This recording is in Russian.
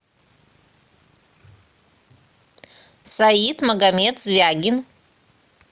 саид магомед звягин